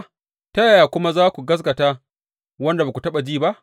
Ta yaya kuma za su gaskata wanda ba su taɓa ji ba?